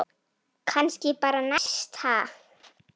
Kannski bara næst, ha!